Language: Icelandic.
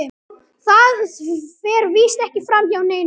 Það fer víst ekki framhjá neinum.